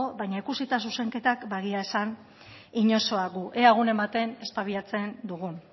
baina ikusita zuzenketak ba egia esan inozoak gu ea egunen batean espabilatzen dugun